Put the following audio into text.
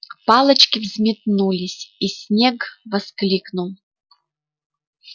палочки взметнулись и снегг воскликнул